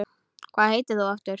Hvað heitir þú aftur?